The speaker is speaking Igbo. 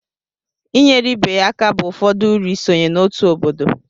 inyere ibe ya aka bụ ụfọdụ uru isonye n'otu obodo